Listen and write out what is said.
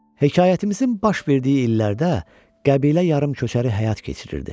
Hekayətimizin baş verdiyi illərdə qəbilə yarımtu köçəri həyat keçirirdi.